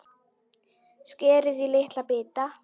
Skerið í litla bita.